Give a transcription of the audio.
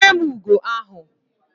Jidere m ugo ahu!